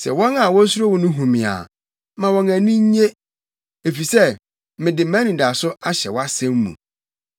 Sɛ wɔn a wosuro wo no hu me a, ma wɔn ani nnye, efisɛ mede mʼanidaso ahyɛ wʼasɛm mu.